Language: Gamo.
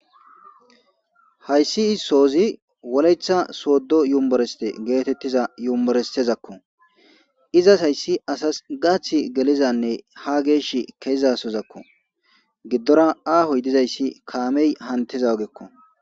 hayssi issozi woleta sooddo yummoreste geetettiza yummorestezakko izas hayssi asas gaath gelizanne ha geesh kezasozakko giddora aahoy dizayssi kaamey hantiza ogekko